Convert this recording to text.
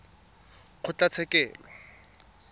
kgotlatshekelo